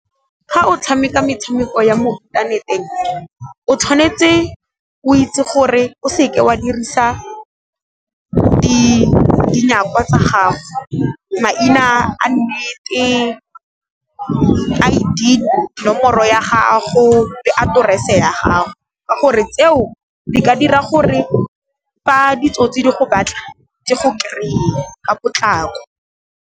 Ga o tshameka metshameko ya mo inthaneteng, o tshwanetse o itse gore o se ke wa dirisa tsa gago. Maina a nnete, I_D nomoro ya gago le aterese ya gago, ka gore tseo di ka dira gore fa ditsotsi di go batla di go kry-e ka potlako.